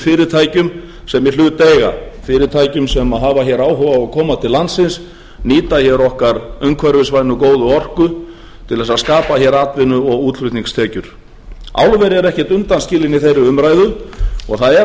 fyrirtækjum sem í hlut eiga fyrirtækjum sem hafa hér áhuga á að koma til landsins nýta hér okkar umhverfisvænu og góðu orku til þess að skapa hér atvinnu og útflutningstekjur álverin eru ekkert undanskilin í þeirri umræðu og það er